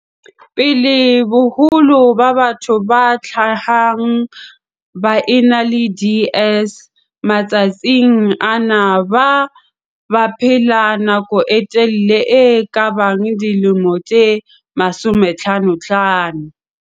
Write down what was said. pele, boholo ba batho ba hlahang ba ena le DS matsatsing ana ba baphela nako e telele e kabang dilemo tse 55.